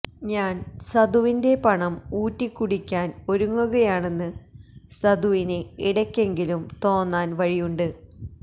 ഞാന് സദുവിന്റെ പണം ഊറ്റിക്കുടിയ്ക്കാന് ഒരുങ്ങുകയാണെന്ന് സദുവിന് ഇടയ്ക്കെങ്കിലും തോന്നാന് വഴിയുണ്ട്